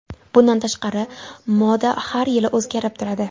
Bundan tashqari, moda har yili o‘zgarib turadi.